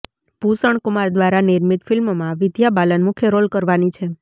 ભૂષણ કુમાર દ્વારા નિર્મિત ફિલ્મમાં વિદ્યા બાલન મુખ્ય રોલ કરવાની છે